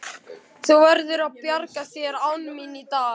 Þú verður að bjarga þér án mín í dag.